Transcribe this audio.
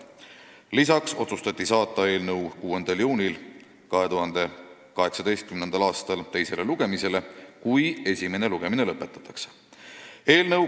Lisaks otsustati saata eelnõu 6. juuniks teisele lugemisele, kui esimene lugemine lõpetatakse.